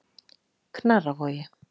Knarrarvogi